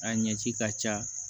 A ɲɛ ci ka ca